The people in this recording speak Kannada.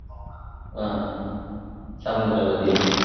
ಆ ಸಮುದ್ರ ಬದಿಯಲ್ಲಿ.